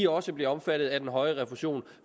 også bliver omfattet af den højere refusion